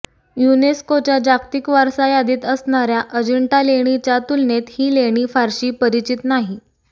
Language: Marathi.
युनेस्कोच्या जागतिक वारसा यादीत असणाऱ्या अजिंठा लेणीच्या तुलनेत ही लेणी फारशी परिचित नाही